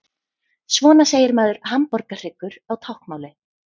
Svona segir maður hamborgarhryggur á táknmáli.